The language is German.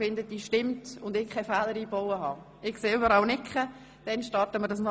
Ich stelle die Abstimmungsfrage erneut und achte auf Ihre Reaktion.